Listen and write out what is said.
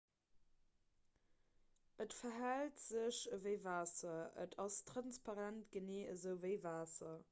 et verhält sech ewéi waasser et ass transparent genee esou ewéi waasser